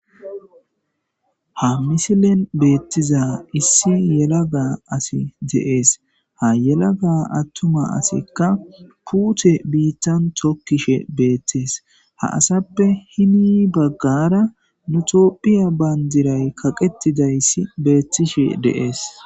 Haa missilenni bettizza issi yelaga assi de'ees.haa yelaga atuma assikka putee bitanni tokishshe betes.ha asappe heni bagara nuu tophphiya banidirayi qaqetidayiss betishshe de'ees.